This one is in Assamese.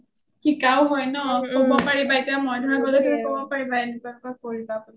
শিকাও হয় ন , কবপাৰিবা এতিয়া মই ধৰা গ’লে কব পাৰিবা এনেকুৱা এনেকুৱা কৰিবা বুলি